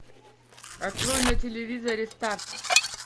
открой на телевизоре старт